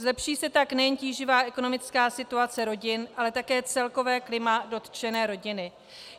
Zlepší se tak nejen tíživá ekonomická situace rodin, ale také celkové klima dotčené rodiny.